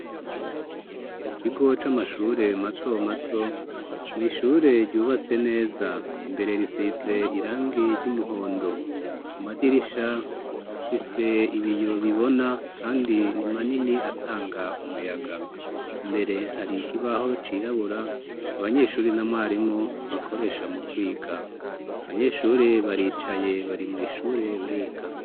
Mu kigo c'amashure mato mato mw'ishure ryubatse neza imbere risize irangi ry'umuhondo, ku madirisha afise ibiyo bibona kandi ni manini atanga umuyaga. Imbere hari ikibaho cirabura abanyeshure na mwarimu bakoresha mu kwika. Abanyeshure baricaye bari mu ishure bariga.